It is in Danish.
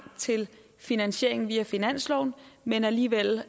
til finansieringen via finansloven men alligevel